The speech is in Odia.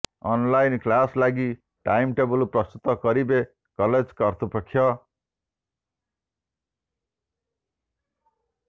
ଅନଲାଇନ୍ କ୍ଲାସ୍ ଲାଗି ଟାଇମ୍ ଟେବୁଲ୍ ପ୍ରସ୍ତୁତ କରିବେ କଲେଜ୍ କର୍ତ୍ତୃପକ୍ଷ